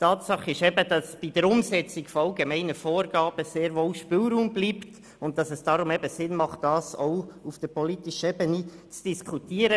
Tatsache ist aber, dass bei der Umsetzung von allgemeinen Vorgaben sehr wohl Spielraum bleibt und es daher Sinn macht, auch auf der politischen Ebene darüber zu diskutieren.